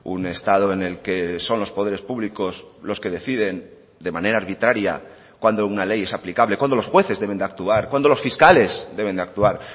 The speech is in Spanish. un estado en el que son los poderes públicos los que deciden de manera arbitraria cuando una ley es aplicable cuándo los jueces deben de actuar cuándo los fiscales deben de actuar